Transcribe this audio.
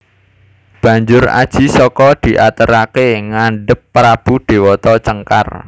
Banjur Aji Saka diateraké ngadhep prabu Déwata Cengkar